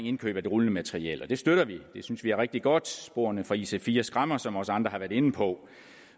indkøb af det rullende materiel og det støtter vi det synes vi er rigtig godt sporene fra ic4 skræmmer som også andre har været inde på